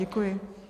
Děkuji.